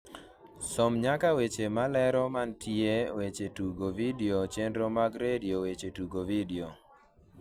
som nyaka weche malero mantie weche tugo vidio chenro mag redio weche tugo vidio